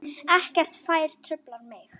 Ekkert fær truflað mig.